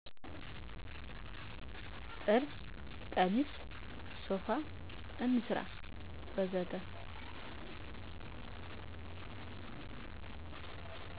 ጥልፍ ቀሚስ፣ ሶፋ፣ እንስራ ወዘተ